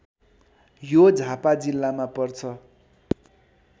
यो झापा जिल्लामा पर्छ